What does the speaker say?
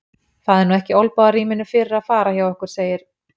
Það er nú ekki olnbogarýminu fyrir að fara hjá okkur, segir